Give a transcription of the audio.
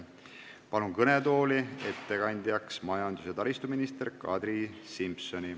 Palun ettekandeks kõnetooli majandus- ja taristuminister Kadri Simsoni.